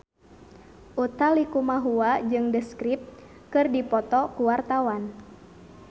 Utha Likumahua jeung The Script keur dipoto ku wartawan